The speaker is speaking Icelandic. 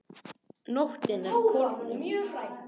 Nóttin er kornung.